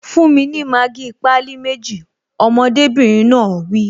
Fún mi ní Maggi pálí méjì! Ọmọdébìnrin náà wí